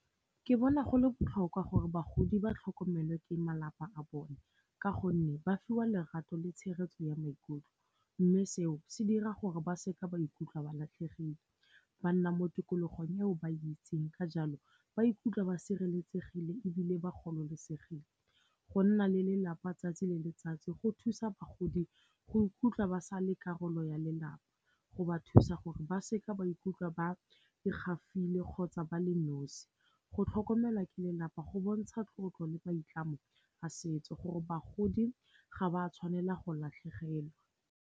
Ke bona go le botlhokwa gore bagodi ba tlhokomelwe ke malapa a bone ka gonne ba fiwa lerato le tshegetso ya maikutlo. Mme seo se dira gore ba seka ba ikutlwa ba latlhegile, ba nna mo tikologong eo ba itseng, ka jalo ba ikutlwa ba sireletsegile ebile ba gololosegile. Go nna le lelapa 'tsatsi le letsatsi go thusa bagodi go ikutlwa ba sa le karolo ya lelapa, go ba thusa gore ba seka ba ikutlwa ba e gafile kgotsa ba le nosi. Go tlhokomelwa ke lelapa go bontsha tlotlo le maitlamo a setso gore bagodi ga ba tshwanela go latlhegelwa.